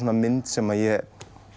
mynd sem ég